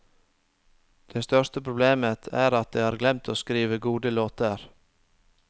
Det største problemet er at de har glemt å skrive gode låter.